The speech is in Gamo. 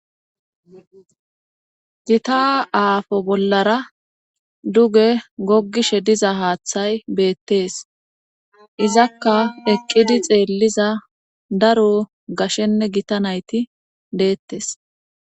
Gita aafo bollara duge goggishe diza haaththay beettees izakka eqqidi xeelliza daro gashshenne gita nayti deettes.